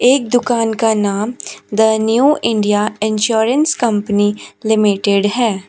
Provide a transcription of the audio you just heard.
एक दुकान का नाम the new India insurance company limited है।